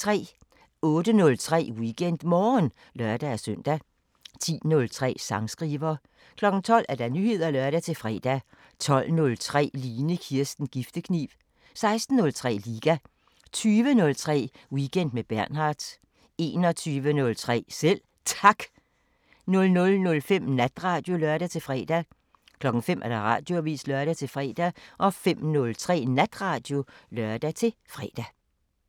08:03: WeekendMorgen (lør-søn) 10:03: Sangskriver 12:00: Nyheder (lør-fre) 12:03: Line Kirsten Giftekniv 16:03: Liga 20:03: Weekend med Bernhard 21:03: Selv Tak 00:05: Natradio (lør-fre) 05:00: Radioavisen (lør-fre) 05:03: Natradio (lør-fre)